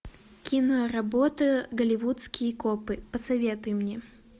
киноработа голливудские копы посоветуй мне